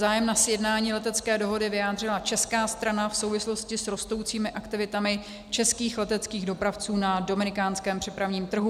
Zájem na sjednání letecké dohody vyjádřila česká strana v souvislosti s rostoucími aktivitami českých leteckých dopravců na dominikánském přepravním trhu.